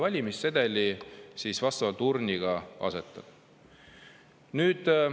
Ja mina lasksin selle valimissedeli urni.